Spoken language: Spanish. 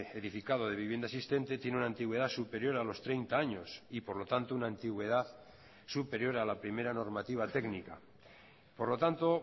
edificado de vivienda existente tiene una antigüedad superior a los treinta años y por lo tanto una antigüedad superior a la primera normativa técnica por lo tanto